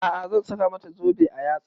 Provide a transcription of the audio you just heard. A'a zan saka mata zobe a yatsa